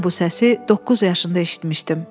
Mən bu səsi doqquz yaşında eşitmişdim.